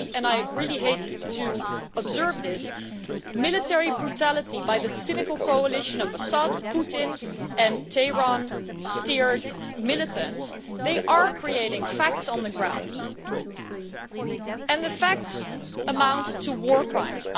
Clearly and I really hate to say this military brutality by the cynical coalition of Assad, Putin and Tehran steered militants is creating facts on the ground, and the facts amount to war crimes.